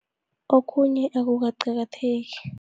Okhunye akukaqakatheki.